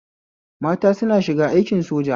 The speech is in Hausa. Mata suna shiga aikin soja